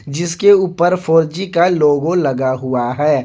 जिसके ऊपर four G का लोगो लगा हुआ है।